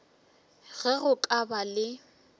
ge go ka ba le